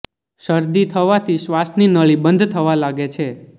શરદી થવાથી શ્વાસની નળી બંધ થવા લાગે છે